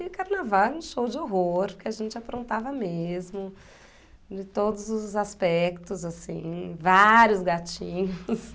E carnaval é um show de horror, porque a gente aprontava mesmo, de todos os aspectos, assim, vários gatinhos.